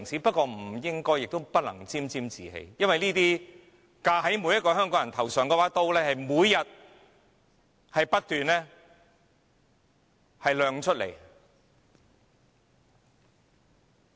不過，我們不應亦不能沾沾自喜，因為架在每個香港人頭上的那把刀每天仍不斷亮出。